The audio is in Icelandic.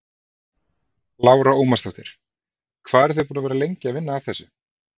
Lára Ómarsdóttir: Hvað eru þið búin að vera lengi að vinna að þessu?